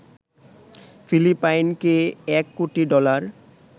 ফিলিপাইনকে ১ কোটি ডলার